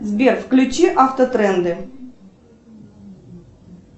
сбер включи автотренды